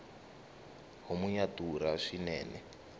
homu ya durha swinene